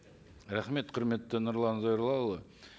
рахмет құрметті нұрлан зайроллаұлы